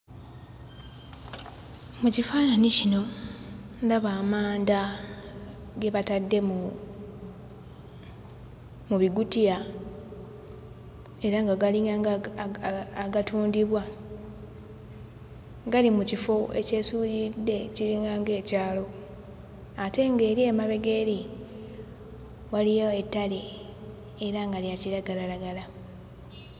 Mu kifaananyi kino, ndaba amanda ge batadde mu mu bikutiya era nga galinga nga aga agatundibwa. Gali mu kifo ekyesuuliridde kiringanga ekyalo ate nga eri emabega eri waliyo ettale era nga lya kiragalalagala.